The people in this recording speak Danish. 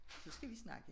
Så skal vi snakke